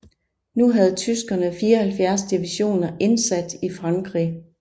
Nu havde tyskerne 74 divisioner indsat i Frankrig